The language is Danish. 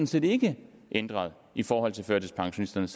set ikke ændret i forhold til førtidspensionisterne